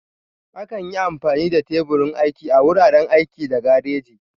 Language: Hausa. Akan yi amfani da teburin aiki a wuraren aiki da gareji.